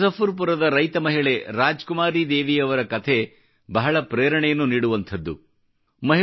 ಬಿಹಾರದ ಮುಝಫರ್ಪುರದ ರೈತ ಮಹಿಳೆ ರಾಜ್ಕುಮಾರಿ ದೇವಿಯವರ ಕಥೆ ಬಹಳ ಪ್ರೇರಣೆಯನ್ನು ನೀಡುವಂಥದ್ದು